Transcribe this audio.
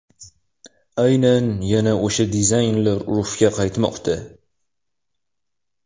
Aynan yana o‘sha dizaynlar urfga qaytmoqda.